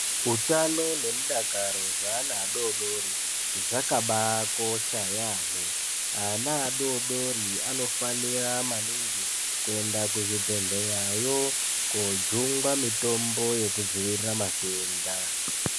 Utano nemudakaro zveana adodori zvakabaakosha yaamho ana adodori anofanira maningi kuenda kuzvibhedhleyayo koojungwa mitombo yekudzivirira matenda.